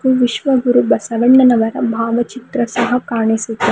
ಇದು ವಿಶ್ವಗುರು ಬಸವಣ್ಣನವರ ಭಾವಚಿತ್ರ ಸಹ ಕಾಣಿಸುತ್ತೆ--